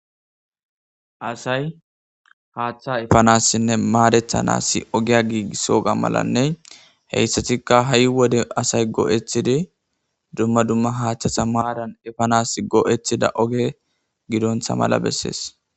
Asay haaththa efanassinne maadethanassi ogiya giigissoga malanne ha assatikka ha'i wode asay go'ethidi dumma dumma haaththasa maaran efanas goo'ethida oge giddontha mala bessees.